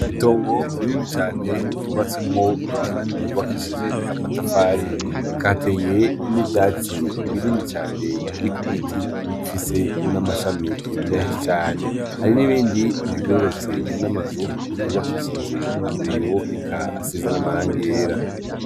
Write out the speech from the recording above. Itongo rinini cane ryubatsemwo inzu yubakishije amatafari eka hateye nivyatsi binini cane biri kubiti bifise n'amashami menshi cane hari n'ibindi bigororotse n'amazu yubakishije abeyo eka asize n'amarangi yera.